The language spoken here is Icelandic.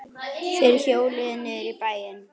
Þeir hjóluðu niður í bæinn.